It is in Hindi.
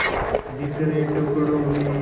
बिखरे टुकड़ों में